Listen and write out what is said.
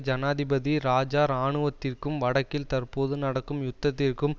ஜனாதிபதி இராஜா இராணுவத்திற்கும் வடக்கில் தற்போது நடக்கும் யுத்தத்திற்கும்